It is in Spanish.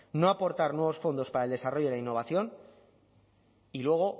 no aportar nuevos fondos para el desarrollo de la innovación y luego